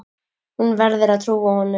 Hún verður að trúa honum.